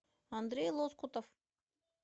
андрей лоскутов